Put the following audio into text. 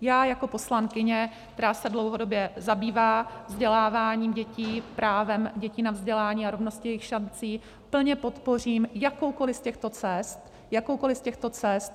Já jako poslankyně, která se dlouhodobě zabývá vzděláváním dětí, právem dětí na vzdělání a rovnost jejich šancí, plně podpořím jakoukoli z těchto cest, jakoukoli z těchto cest,